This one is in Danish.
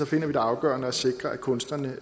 finder vi det afgørende at sikre at kunstnerne